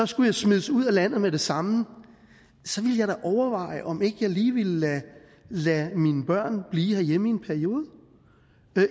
skulle jeg smides ud af landet med det samme så ville jeg da overveje om ikke jeg lige ville lade lade mine børn blive herhjemme i en periode